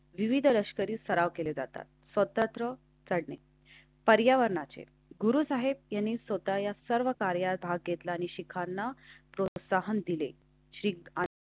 श्री विविध लष्करी सराव केले जातात. स्वतंत्र पर्यावरणाचे गुरू आहेत. त्यांनी स्वतः या सर्व कार्यात भाग घेतला आणि शिखांना प्रोत्साहन दिले.